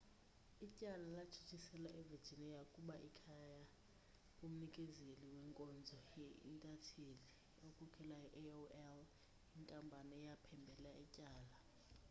ityala latshutshiselwa evirginia kuba likhaya kumnikezeli wenkonzo ye-intanethi okhokelayo i-aol inkampani eyaphembelela ityala